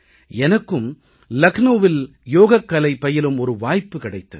எனக்கும் லக்னவில் யோகக்கலை பயிலும் ஒரு வாய்ப்பு கிடைத்தது